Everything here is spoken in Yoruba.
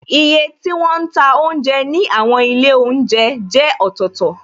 Iye tí wọn ń ta oúnjẹ ní àwọn ilé oúnjẹ jẹ́ ọ̀tọ̀tọ̀,